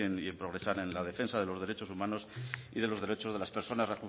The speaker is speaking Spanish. y en progresar en la defensa de los derechos humanos y de los derechos de las personas